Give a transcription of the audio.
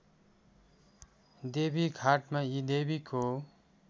देवीघाटमा यी देवीको